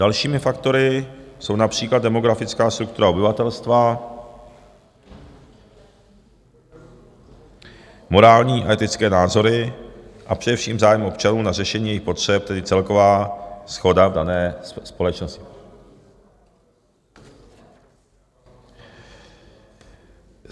Dalšími faktory jsou například demografická struktura obyvatelstva, morální a etické názory a především zájem občanů na řešení jejich potřeb, tedy celková shoda v dané společnosti.